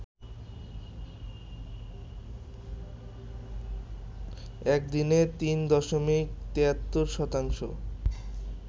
একদিনে ৩ দশমিক ৭৩ শতাংশ